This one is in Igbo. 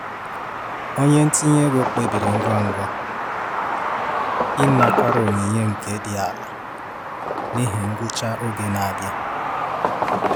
Onye ntinye ego kpebiri ngwa ngwa ịnakwere onyinye nke dị ala n'ihi ngwụcha oge n'abịa.